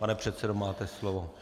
Pane předsedo, máte slovo.